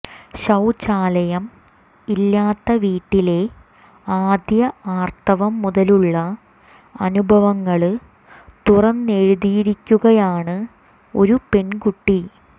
ശൌചാലയം ഇല്ലാത്ത വീട്ടിലെ ആദ്യ ആര്ത്തവം മുതലുള്ള അനുഭവങ്ങള് തുറന്നെഴുതിയിരിക്കുകയാണ് ഒരു പെണ്കുട്ടി